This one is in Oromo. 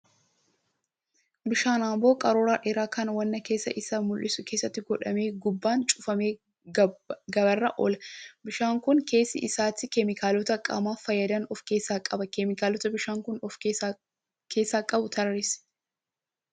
Bishaan amboo qaruuraa dheeraa kan waan keessa isaa mul'isu keessatti godhamee gubbaan cufamee gabaarra oola. Bishaaan kun keessa isaatti keemikaalota qaamaaf fayyadan of keessaa qaba. Keemikaalota bishaan kun of keessaa qabu tarreessi?